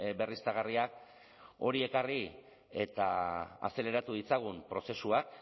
berriztagarriak hori ekarri eta azeleratu ditzagun prozesuak